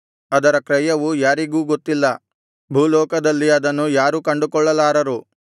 ಅದರ ಕ್ರಯವು ಯಾರಿಗೂ ಗೊತ್ತಿಲ್ಲ ಭೂಲೋಕದಲ್ಲಿ ಅದನ್ನು ಯಾರೂ ಕಂಡುಕೊಳ್ಳಲಾರರು